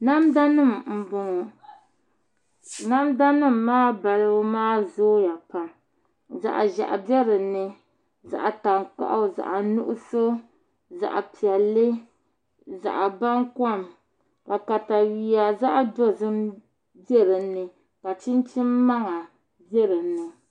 Namda nim n bɔŋɔ namda nim maa balibu maa zooya pam zaɣ ʒiɛhi bɛ dinni zaɣ tankpaɣu zaɣ nuɣso zaɣ piɛlli zaɣ baŋkom ka katawiya zaɣ dozim bɛ dinni ka chinchin maŋa bɛ dinni